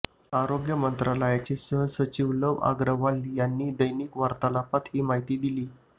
आरोग्य मंत्रालयाचे सहसचिव लव अग्रवाल यांनी दैनिक वार्तालापात ही माहिती दिली